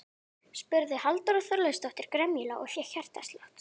spurði Halldóra Þorleifsdóttir gremjulega og fékk hjartslátt.